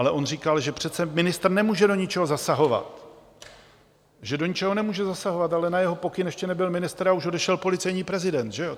Ale on říkal, že přece ministr nemůže do ničeho zasahovat, že do ničeho nemůže zasahovat, ale na jeho pokyn, ještě nebyl ministr, ale už odešel policejní prezident, že jo.